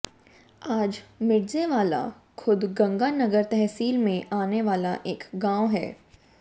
आज मिर्ज़ेवाला खुद गंगानगर तहसील में आने वाला एक गांव है